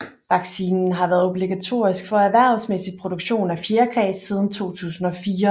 Vaccinen har været obligatorisk for erhvervsmæssig produktion af fjerkræ siden 2004